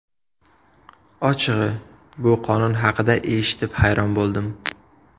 Ochig‘i, bu qonun haqida eshitib hayron bo‘ldim.